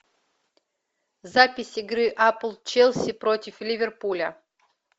запись игры апл челси против ливерпуля